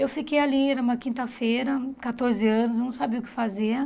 Eu fiquei ali, era uma quinta-feira, quatorze anos, não sabia o que fazer.